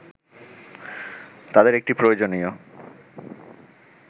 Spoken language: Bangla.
তাঁদের একটি প্রয়োজনীয়